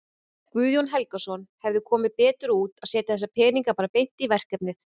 Guðjón Helgason: Hefði komið betur út að setja þessa peninga bara beint í verkefnið?